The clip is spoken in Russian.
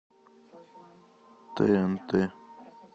тнт